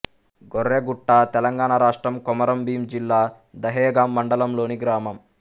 గొర్రెగుట్ట తెలంగాణ రాష్ట్రం కొమరంభీం జిల్లా దహేగాం మండలంలోని గ్రామం